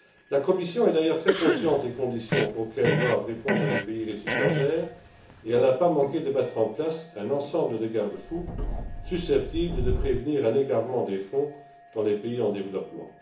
La Commission est d'ailleurs très consciente des conditions auxquelles doivent répondre les pays récipiendaires, et elle n'a pas manqué de mettre en place un ensemble de garde fous susceptibles de prévenir un égarement des fonds dans les pays en développement.